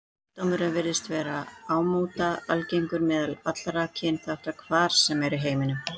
Sjúkdómurinn virðist vera ámóta algengur meðal allra kynþátta, hvar sem er í heiminum.